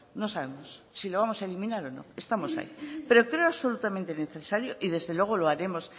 no sabemos si lo vamos a eliminar o no pero creo absolutamente necesario y desde luego lo haremos